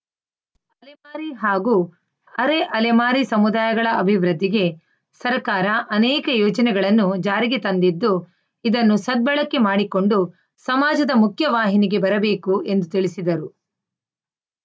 ಅಲೆಮಾರಿ ಹಾಗೂ ಅರೆ ಅಲೆಮಾರಿ ಸಮುದಾಯಗಳ ಅಭಿವೃದ್ಧಿಗೆ ಸರ್ಕಾರ ಅನೇಕ ಯೋಜನೆಗಳನ್ನು ಜಾರಿಗೆ ತಂದಿದ್ದು ಇದನ್ನು ಸದ್ಬಳಕೆ ಮಾಡಿಕೊಂಡು ಸಮಾಜದ ಮುಖ್ಯವಾಹಿನಿಗೆ ಬರಬೇಕು ಎಂದು ತಿಳಿಸಿದರು